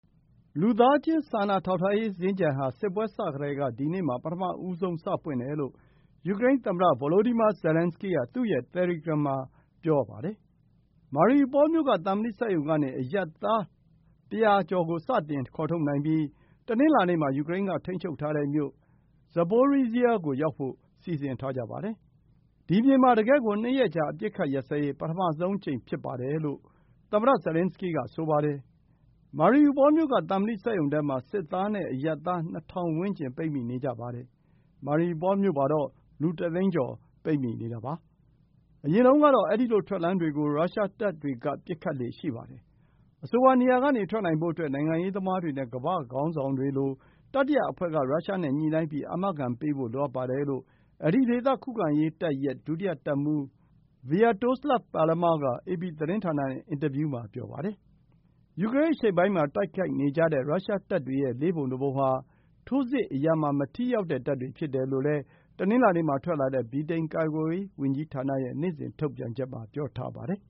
လူသားချင်း စာနာထောက်ထားမှုစင်္ကြန်ဟာ စစ်ပွဲစကတည်းက ဒီနေ့မှာ ပထမဆုံး စပွင့်တယ်လို့ ယူကရိန်းသမ္မတ ဗိုလိုဒီမာ ဇာလန်းစကီးက သူ့ရဲ့တယ်လီဂရမ်မှာ ပြောပါတယ်။ Mariupol မြို့က သံမဏိစက်ရုံကနေ အရပ်သား ၁၀၀ ကို စတင် ခေါ်ထုတ်နိုင်ပြီး တနင်္လာနေ့ မှာ ယူကရိန်းက ထိန်းချုပ်ထားတဲ့ မြို့ Zaporizhzhia ကို ရောက်ဖို့ စီစဉ်ထားကြပါတယ်။ “ဒီမြေမှာ တကယ့်ကို ၂ ရက်ကြာ အပစ်အခတ်ရပ်စဲရေး ပထမဆုံးအကြိမ် ဖြစ်တယ်” လို့လည်း သမ္မတ Zelenskyy က ဆိုပါတယ်။ Mariupol မြို့က သံမဏိစက်ရုံထဲမှာ စစ်သားနဲ့အရပ်သား ၂,၀၀၀ ဝန်းကျင် ပိတ် မိနေကြပါတယ်။ Mariupol မြို့မှာတော့ လူတစ်သိန်းကျော် ပိတ်မိနေတာပါ။ အရင်တုန်းကတော့ အဲဒီလို ထွက်လမ်းတွေကို ရုရှားတပ်တွေက ပစ်ခတ်လေ့ရှိပါတယ်။ အဆိုပါ နေရာကနေ ထွက်နိုင်ဖို့အတွက် နိုင်ငံရေးသမားတွေနဲ့ ကမ္ဘာ့ ခေါင်းဆောင်တွေတွေလို ကြားခံတတိယအဖွဲ့က ရုရှားနဲ့ ညှိနှိုင်းပြီး အာမခံပေးဖို့ လိုအပ်ပါတယ်လို့ အဲဒီဒေသ ခုခံရေးတပ်ရဲ့ ဒုတိယတပ်မှူး Sviatoslav Palamar က အေပီသတင်းဌာနနဲ့ အင်တာဗျူးမှာ ပြောပါတယ်။ ယူကရိန်းအရှေ့ပိုင်းမှာတိုက်နေကြတဲ့ ရုရှားတပ်တွေရဲ့ လေးပုံတပုံဟာ ထိုးစစ်အရာမှာ မထိရောက်တဲ့တပ်တွေ ဖြစ်တယ်လို့ တနင်္လာနေ့မှာ ထွက်လာတဲ့ ဗြိတိန် ကာကွယ်ရေးဝန်ကြီးဌာန ရဲ့နေ့စဉ် ထုတ်ပြန်ချက်မှာ ပြောပါတယ်